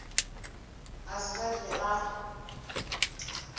a se sa hlwe a